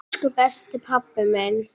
Elsku besti pabbi minn.